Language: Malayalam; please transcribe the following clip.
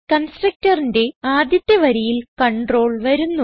constructorന്റെ ആദ്യത്തെ വരിയിൽ കണ്ട്രോൾ വരുന്നു